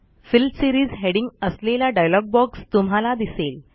fill series heading असलेला dialog box तुम्हाला दिसेल